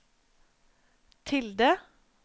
tilde